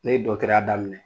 Ne ye ya daminɛ